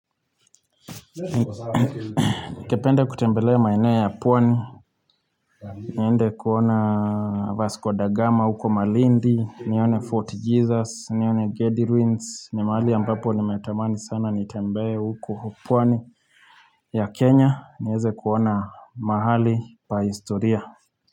Kependa kutembele maeneo ya pwani niende kuona Vasco Da gama huko Malindi, nione Fort Jesus, nione Gedi Ruins ni mahali ambapo nimetamani sana nitembee huko pwani ya Kenya nieze kuona mahali pa historia.